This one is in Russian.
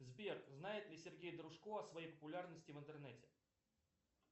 сбер знает ли сергей дружко о своей популярности в интернете